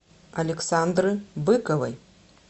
александры быковой